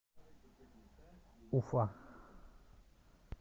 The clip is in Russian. уфа